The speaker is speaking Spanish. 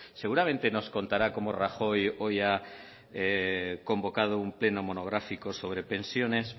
seguramente nos contará cómo rajoy hoy ha convocado un pleno monográfico sobre pensiones